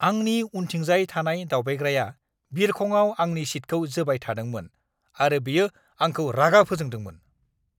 आंनि उनथिंजाय थानाय दावबायग्राया बिरखंआव आंनि सीटखौ जोबाय थादोंमोन आरो बेयो आंखौ रागा फोजोंदोंमोन!